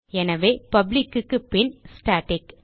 எனவே பப்ளிக் க்கு பின் ஸ்டாட்டிக்